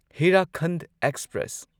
Hirakhand express